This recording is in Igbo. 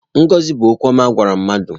Ngọzi bụ okwu ọma a gwara mmadụ.